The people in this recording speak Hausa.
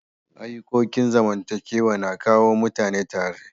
Ayukokin zamantakewa na kawo mutane tare.